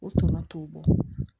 O tɔnɔ t'o bɔ